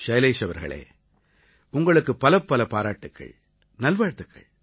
ஷைலேஷ் அவர்களே உங்களுக்குப் பலப்பலப் பாராட்டுக்கள் நல்வாழ்த்துக்கள்